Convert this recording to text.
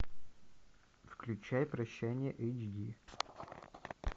включай прощание эйч ди